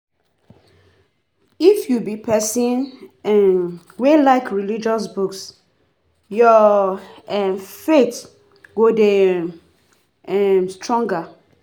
If you be pesin um wey like religious books, your um faith go dey um stronger.